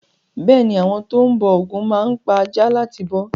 Bẹ́ẹ̀ ni, àwọn tó ń bọ ògún máa ń pa aja láti bọ́.